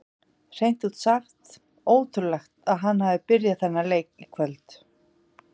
Hreint út sagt ótrúlegt að hann hafi byrjað þennan leik í kvöld.